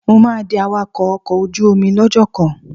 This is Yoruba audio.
Mo máa di awakọ́ ọkọ̀ ojú omi lọ́jọ́ kan.